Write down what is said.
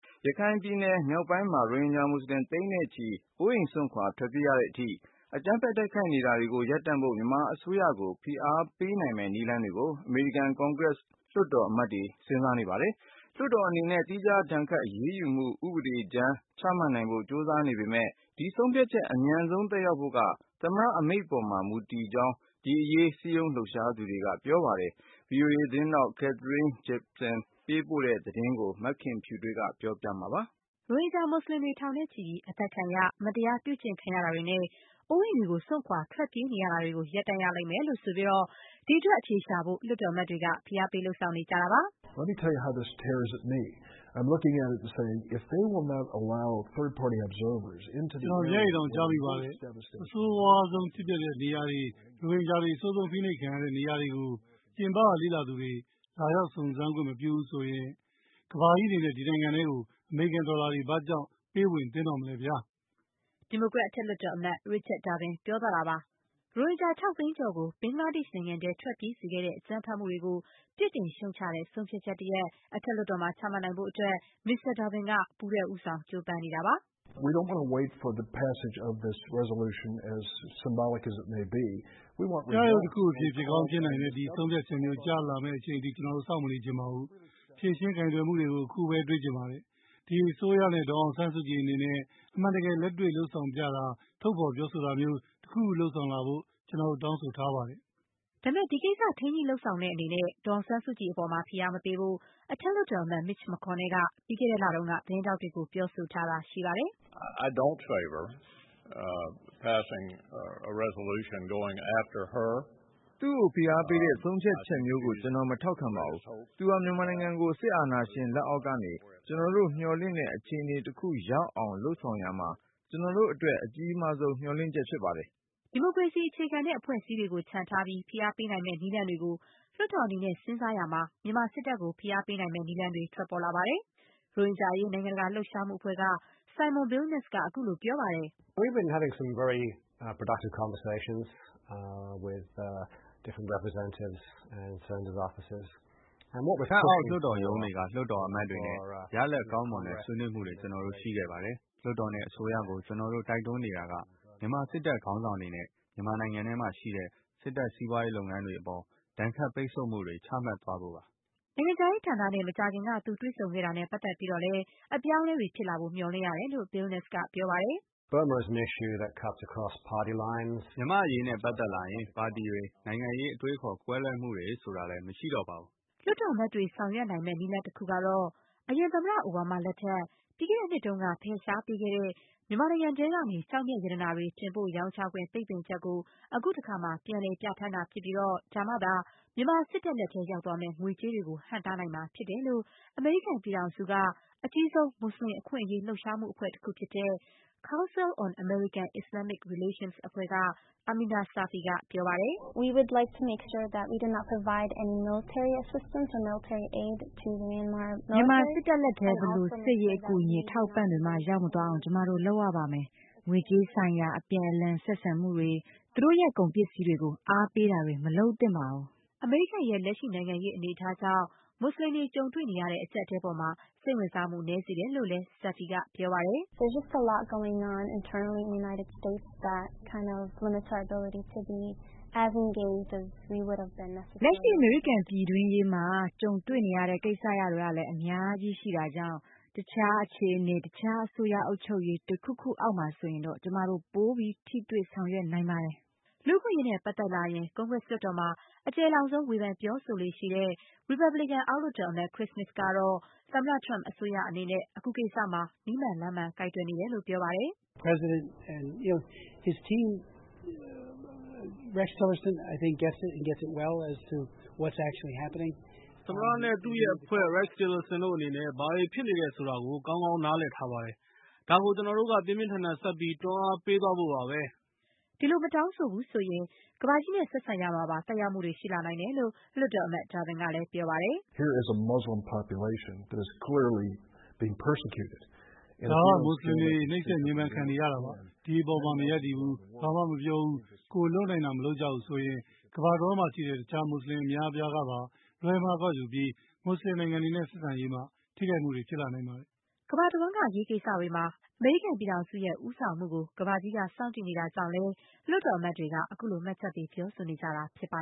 ရခိုင်ပြည်နယ်မြောက်ပိုင်းမှာ ရိုဟင်ဂျာမူစလင် သိန်းနဲ့ချီ အိုးအိမ် စွန့်ခွာ ထွက်ပြေးရတဲ့အထိ အကြမ်းဖက် တိုက်ခိုက်နေတာတွေကို ရပ်တန့်ဖို့ မြန်မာအစိုးရကို ဖိအားပေးနိုင်မယ့် နည်းလမ်းတွေကို အမေရိကန် ကွန်ဂရက်လွှတ်တော်အမတ်တွေက စဉ်းစားနေပါတယ်။ လွှတ်တော်အနေနဲ့ သီးခြား ဒဏ်ခတ်အရေးယူမှု ဥပဒေမူကြမ်း ချမှတ်နိုင်ဖို့ ကြိုးစားနေပေမဲ့ ဒီဆုံးဖြတ်ချက် အမြန်ဆုံး သက်ရောက်ဖို့က အိမ်ဖြူတော် သမ္မတ အမိန့်ပေါ်မှာ မူတည်တဲ့အကြောင်း ဒီအရေး စည်းရုံးလှုပ်ရှားနေသူတွေက ပြောပါတယ်။ Capitol လွှတ်တော် အဆောက်အဦးကနေ ဗွီအိုအေသတင်းထောက် Katherine Gypson ပေးပို့တဲ့သတင်းကို မခင်ဖြူထွေးက တင်ပြထားပါတယ်။ ရိုဟင်ဂျာမူစလင်တွေ ထောင်နဲ့ချီပြီး အသတ်ခံရ၊ မတရားပြုကျင့်ခံရတာတွေနဲ့ အိုးအိမ် စွန့်ခွာ ထွက်ပြေးနေရတာတွေကို ရပ်တန့်ရလိမ့်မယ် လို့ ဆိုပြီး ဒီအတွက် အဖြေရှာဖို့ လွှတ်တော်အမတ်တွေက ဖိအားပေး လုပ်ဆောင်နေတာပါ။ “ကျနော် မျက်ရည်တောင် ကျမိပါတယ်။ အဆိုးရွားဆုံး ဖြစ်ပျက်ခဲ့တဲ့နေရာတွေ၊ ရိုဟင်ဂျာတွေ အဆိုးဆုံး ဖိနှိပ်ခံရတဲ့ နေရာတွေကို ပြင်ပက လေ့လာသူတွေ လာရောက် စုံစမ်းစစ်ဆေးခွင့် မပြုဘူးဆိုရင် ကမ္ဘာကြီးအနေနဲ့ အဲဒီနိုင်ငံထဲကို အမေရိကန်ဒေါ်လာတွေ ဘာကြောင့် ပေးဝင်သင့်တော့မလဲဗျာ။” ဒီမိုကရက် အထက်လွှတ်တော်အမတ် Richard Durbin ပြောသွားတာပါ။ ရိုဟင်ဂျာ ၆ သိန်းကျော်ကို ဘင်္ဂလားဒေ့ရှ် နိုင်ငံထဲ ထွက်ပြေးစေခဲ့တဲ့ အကြမ်းဖက်မှုတွေကို ပြစ်တင်ရှုတ်ချတဲ့ ဆုံးဖြတ်ချက်တရပ် အထက်လွှတ်တော်မှာ ချမှတ်နိုင်ဖို့အတွက် မစ္စတာ ဒါဘင်က ပူးတွဲ ဦးဆောင် ကြိုးပမ်းနေတာပါ။ “ပြယုဂ်တခုအဖြစ် ဖြစ်ကောင်းဖြစ်နိုင်တဲ့ ဒီဆုံးဖြတ်ချက်မျိုး ကျလာမယ့်အချိန်အထိ ကျနော်တို့ စောင့်မနေချင်ပါဘူး။ ဖြေရှင်း ကိုင်တွယ်မှုတွေကို အခုပဲ တွေ့ချင်ပါတယ်။ ဒီအစိုးရနဲ့ ဒေါ်အောင်ဆန်းစုကြည် အနေနဲ့ အမှန်တကယ် လက်တွေ့လုပ်ဆောင်ပြတာ၊ ထုတ်ဖော် ပြောဆိုတာမျိုး တခုခုလုပ်ဆောင်လာဖို့ ကျနော်တို့ တောင်းဆိုပါတယ်။” ဒါပေမဲ့ ဒီကိစ္စ ထိန်းညှိလုပ်ဆောင်တဲ့အနေနဲ့ ဒေါ်အောင်ဆန်းစုကြည်အပေါ် ဖိအားမပေးဖို့ အထက်လွှတ်တော်အမတ် Mitch McConnell က ပြီးခဲ့တဲ့လတုန်းက သတင်းထောက်တွေကို ပြောဆိုထားတာ ရှိပါတယ်။ “သူ့ကို ဖိအားပေးတဲ့ ဆုံးဖြတ်ချက်မျိုးကို ကျနော် မထောက်ခံပါဘူး။ သူဟာ မြန်မာနိုင်ငံကို စစ်အာဏာရှင် လက်အောက်ကနေ ကျနော်တို့ မျှော်လင့်တဲ့ အခြေအနေတခု ရောက်အောင် လုပ်ဆောင်ရာမှာ ကျနော်တို့အတွက် အကြီးမားဆုံး မျှော်လင့်ချက်ဖြစ်ပါတယ်။” ဒီမိုကရေစီအခြေခံတဲ့ အဖွဲ့အစည်းတွေကို ချန်ထားပြီး ဖိအားပေးနိုင်မယ့် နည်းလမ်းတွေကို လွှတ်တော်အနေနဲ့ စဉ်းစားရာမှာ မြန်မာ စစ်တပ်ကို ဖိအားပေးနိုင်မယ့် နည်းလမ်းတွေ ထွက်လာပါတယ်။ ရိုဟင်ဂျာအရေး နိုင်ငံတကာလှုပ်ရှားမှုအဖွဲ့က Simon Billenness က ခုလို ပြောပါတယ်။ “အထက် ၊ အောက် လွှတ်တော်ရုံးတွေက လွှတ်တော်အမတ်တွေနဲ့ ရလဒ်ကောင်းမွန်တဲ့ ဆွေးနွေးမှုတွေ ကျနော်တို့ ရှိခဲ့ပါတယ်။ လွှတ်တော်နဲ့ အစိုးရကို ကျနော်တို့ တိုက်တွန်းနေတာက - မြန်မာစစ်တပ် ခေါင်းဆောင်တွေနဲ့ မြန်မာနိုင်ငံထဲမှာရှိတဲ့ စစ်တပ် စီးပွားရေးလုပ်ငန်းတွေအပေါ် ဒဏ်ခတ်ပိတ်ဆို့မှုတွေ ချမှတ်သွားဖို့ပါ။” နိုင်ငံခြားရေးဌာနနဲ့ မကြာခင်က သူ တွေ့ဆုံခဲ့တာနဲ့ပတ်သက်ပြီးတော့လည်း အပြောင်းအလဲဖြစ်လာဖို့ မျှော်လင့်ရတယ်လို့ Billenness က ပြောပါတယ်။ “မြန်မာ့အရေးနဲ့ပတ်သက်လာရင် ပါတီတွေ၊ နိုင်ငံရေးအတွေးအခေါ် ကွဲလွဲမှုတွေ ဆိုတာလည်း မရှိတော့ပါဘူး။” လွှတ်တော်အမတ်တွေ ဆောင်ရွက်နိုင်မယ့် နည်းလမ်းတခုကတော့ - အရင်သမ္မတ အိုဘားမားလက်ထက် ပြီးခဲ့တဲ့နှစ်တုန်းက ဖယ်ရှားပေးခဲ့တဲ့ မြန်မာနိုင်ငံထဲကနေ ကျောက်မျက်ရတနာတွေ တင်ပို့ရောင်းချခွင့် ပိတ်ပင်ချက်ကို အခုတခါ ပြန်လည် ပြဌာန်းတာ ဖြစ်ပြီး ဒါမှသာ မြန်မာစစ်တပ်လက်ထဲ ရောက်သွားမယ့် ငွေကြေးတွေကို ဟန့်တားနိုင်မှာ ဖြစ်တယ်လို့ အမေရိကန်ပြည်ထောင်စုက အကြီးဆုံး မူစလင် အခွင့်အရေးလှုပ်ရှားမှုအဖွဲ့ Council on American Islamic Relations က Amineh Safi က ပြောပါတယ်။ “မြန်မာစစ်တပ်လက်ထဲ ဘယ်လို စစ်ရေး အကူအညီ အထောက်အပံ့တွေမှ ရောက်မသွားအောင် ကျမတို့ လုပ်ရပါမယ်။ ငွေကြေးဆိုင်ရာ အပြန်အလှန် ဆက်ဆံမှုတွေ၊ သူတို့ရဲ့ ကုန်ပစ္စည်းတွေကို အားပေးတာတွေ မလုပ်သင့်ပါဘူး။” အမေရိကန်ရဲ့ လက်ရှိ နိုင်ငံရေးအနေအထားကြောင့် မူစလင်တွေကြုံတွေ့နေရတဲ့ အကျပ်အတည်းအပေါ်မှာ စိတ်ဝင်စားမှု နည်းစေတယ်လို့လည်း Safi က ပြောပါတယ်။ “လက်ရှိ အမေရိကန်ပြည်တွင်းရေးမှာ ကြုံတွေ့နေရတဲ့ ကိစ္စရပ်တွေကလည်း အများကြီးရှိတာကြောင့် တခြား အခြေအနေ၊ တခြား အစိုးရအုပ်ချုပ်ရေး တခုခုအောက်မှာဆိုရင်တော့ ကျမတို့ ပိုပြီး ထိတွေ့ဆောင်ရွက်နိုင်ပါတယ်။” လူ့အခွင့်အရေးနဲ့ပတ်သက်လာရင် ကွန်ဂရက်လွှတ်တော်မှာ အကျယ်လောင်ဆုံး ဝေဖန်ပြောဆိုလေ့ရှိတဲ့ ရီပတ်ဘလစ်ကန် အောက်လွှတ်တော်အမတ် Chris Smith ကတော့ သမ္မတ Trump အစိုးရအနေနဲ့ အခုကိစ္စမှာ နည်းမှန်လမ်းမှန် ကိုင်တွယ်နေတယ်လို့ ပြောပါတယ်။ “သမ္မတနဲ့ သူ့ရဲ့အဖွဲ့… Rex Tillerson တို့အနေနဲ့ ဘာတွေ ဖြစ်နေတယ်ဆိုတာကို ကောင်းကောင်း နားလည်ထားပါတယ်။ ဒါကို ကျနော်တို့က ပြင်းပြင်းထန်ထန် ဆက်ပြီး တွန်းအားပေးသွားဖို့ပါပဲ။” ဒီလို့ မတောင်းဆိုဘူးဆိုရင် ကမ္ဘာနဲ့ဆက်ဆံရာမှာပါ သက်ရောက်မှုတွေ ရှိလာနိုင်တယ်လို့ လွှတ်တော်အမတ် ဒါဘင်ကလည်း ပြောပါတယ်။ “ဒါက မူစလင်တွေ နှိပ်စက်ညှင်းပမ်း ခံနေရတာပါ။… ဒီအပေါ်မှာ မရပ်တည်ဘူး။ ဘာမှမပြောဘူး။ ကိုယ်လုပ်နိုင်တာ မလုပ်ကြဘူးဆိုရင် ကမ္ဘာတဝှမ်းမှာရှိတဲ့ တခြား မူစလင်အများအပြားကပါ လွဲမှားကောက်ယူပြီး မူစလင်နိုင်ငံတွေနဲ့ ဆက်ဆံရေးမှာ ထိခိုက်မှုတွေ ဖြစ်လာနိုင်ပါတယ်။” ကမ္ဘာတဝှမ်းက အရေးကိစ္စတွေမှာ အမေရိကန်ပြည်ထောင်စုရဲ့ ဦးဆောင်မှုကို ကမ္ဘာကြီးက စောင့်ကြည့်နေတာကြောင့်လည်း လွှတ်တော်အမတ်တွေက အခုလို မှတ်ချက်ပေး ပြောဆိုနေကြတာဖြစ်ပါ